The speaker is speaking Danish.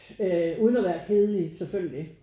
Øh uden at være kedelig selvfølgelig